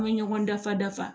An bɛ ɲɔgɔn dafa dafa